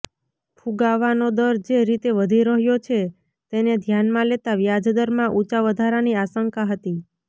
ફુગાવાનો દર જે રીતે વધી રહ્યો છે તેને ધ્યાનમાં લેતાં વ્યાજદરમાં ઊંચા વધારાની આશંકા હતી